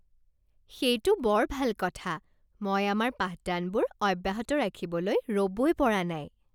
সেইটো বৰ ভাল কথা! মই আমাৰ পাঠদানবোৰ অব্যাহত ৰাখিবলৈ ৰ'বই পৰা নাই।